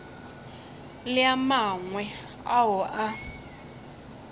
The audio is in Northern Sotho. le a mangwe ao a